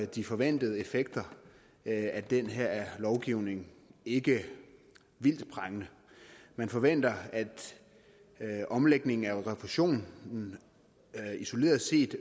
de forventede effekter af den her lovgivning ikke vildt prangende man forventer at omlægningen af refusionen isoleret set